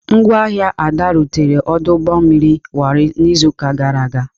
Ngwa ahịa Ada rutere ọdụ ụgbọ mmiri Warri n'izuụka gara aga.